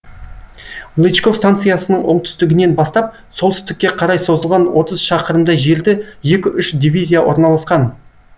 лычков станциясының оңтүстігінен бастап солтүстікке қарай созылған отыз шақырымдай жерде екі үш дивизия орналасқан